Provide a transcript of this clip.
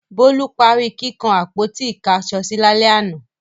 Bólú parí kíkan àpótí-ìkáṣọsí lálẹ́ àná.